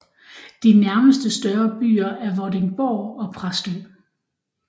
De nærmeste større byer er Vordingborg og Præstø